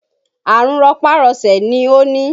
Àrùn rọpá-rọṣẹ̀ ni ó ni